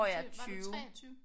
Og du siger var du 23?